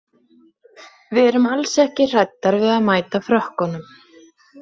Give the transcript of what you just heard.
Við erum alls ekki hræddar við að mæta Frökkunum.